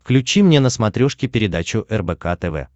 включи мне на смотрешке передачу рбк тв